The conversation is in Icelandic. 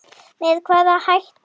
Með hvaða hætti?